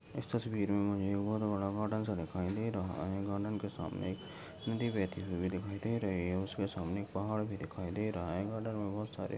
इस तसवीर मी मुझे बहुत बडा गार्डन सा दिखायी दे रहा हैं। गार्डन के सामने एक नदी बेहती हुई दिखाई दे रही है उसके सामने एक पहाड़ भी दिखाई दे रहा है गार्डन मे बहुत सारे--